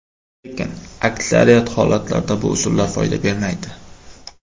Lekin, aksariyat holatlarda bu usullar foyda bermaydi.